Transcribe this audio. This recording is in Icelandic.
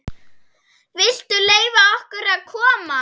VILTU LEYFA OKKUR AÐ KOMAST!